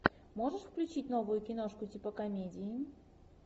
можешь включить новую киношку типа комедии